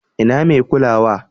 Ina mai kulawa?